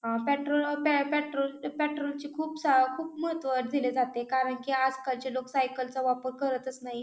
अ petrol petrol petrol चे खूप स महत्व दिले जाते काही कारण की आजकालची लोक सायकल चा वापर करतच नाही.